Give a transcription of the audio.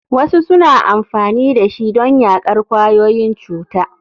Wasu suna amfani da shi don yaƙar ƙwayoyin cuta.